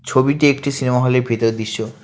ছবিটি একটি সিনেমা হলের ভেতরের দিশ্য ।